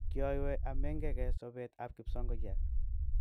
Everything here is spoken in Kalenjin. Kiyoywei amengi ge sopet ab kipsongoyat.